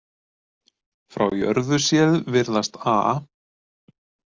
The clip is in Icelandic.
Frá jörðu séð virðast A